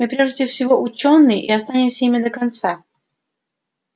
мы прежде всего учёные и останемся ими до конца